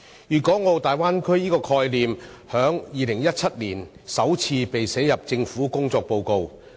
粵港澳大灣區這個概念，在2017年首次被寫入政府的工作報告。